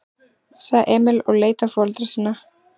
sagði Emil og leit á foreldra sína.